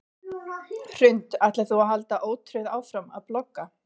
Hrund: Ætlar þú að halda ótrauð áfram að blogga?